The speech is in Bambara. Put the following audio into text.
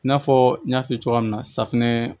I n'a fɔ n y'a f'i ye cogoya min na safinɛ